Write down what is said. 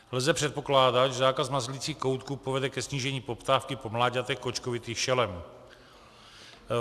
Lze předpokládat, že zákaz mazlicích koutků povede ke snížení poptávky po mláďatech kočkovitých šelem.